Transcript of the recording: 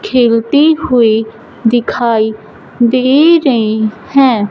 खेलती हुईं दिखाई दे रहीं हैं।